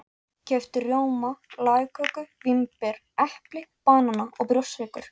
Keypti rjóma, lagköku, vínber, epli, banana og brjóstsykur.